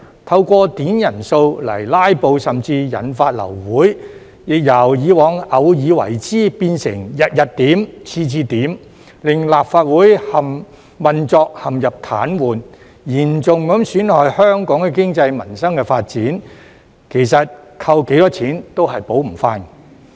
透過點人數來"拉布"，甚至引發流會，亦由以往偶爾為之，變成日日點、次次點，令立法會運作陷入癱瘓，嚴重損害香港的經濟民生發展，其實扣多少錢都補償不到。